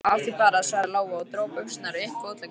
Af því bara, svaraði Lóa og dró buxurnar upp fótleggina.